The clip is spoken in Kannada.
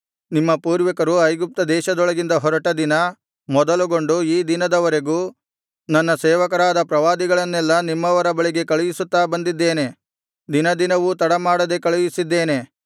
ನಿಮ್ಮ ಪೂರ್ವಿಕರು ಐಗುಪ್ತ ದೇಶದೊಳಗಿಂದ ಹೊರಟ ದಿನ ಮೊದಲುಗೊಂಡು ಈ ದಿನದವರೆಗೂ ನನ್ನ ಸೇವಕರಾದ ಪ್ರವಾದಿಗಳನ್ನೆಲ್ಲಾ ನಿಮ್ಮವರ ಬಳಿಗೆ ಕಳುಹಿಸುತ್ತಾ ಬಂದಿದ್ದೇನೆ ದಿನ ದಿನವೂ ತಡ ಮಾಡದೆ ಕಳುಹಿಸಿದ್ದೇನೆ